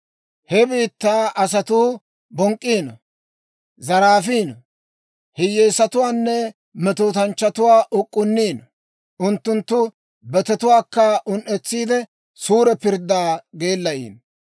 He biittaa asatuu bonk'k'iino; zaraafino; hiyyeesatuwaanne metootanchchatuwaa uk'k'unniino; unttunttu betetuwaakka un"etsiide suure pirddaa geelayiino.